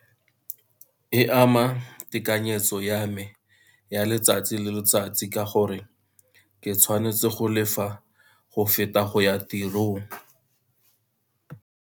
E ama tekanyetso ya me ya letsatsi le letsatsi, ka gore ke tshwanetse go lefa go feta go ya tirong.